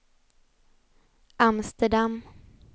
Amsterdam